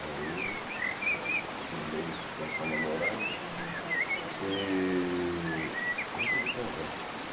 Aí já firmei com essa namorada e resolvi casar.